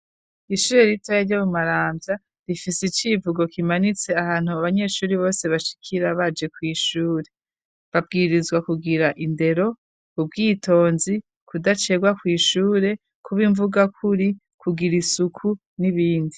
Ishure ritoya ryo mumarambya rifise icivugo kimanitse ahantu abanyeshure bose bashikira baje ku ishure babwirizwa kugira indero ,ubwitonzi kudacererwa ku ishure ,kuba imvugakuri ,kugira isuku n'ibindi.